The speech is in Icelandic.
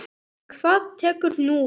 Og hvað tekur nú við?